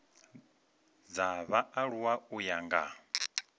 dza vhaaluwa u ya nga